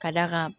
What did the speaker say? Ka d'a kan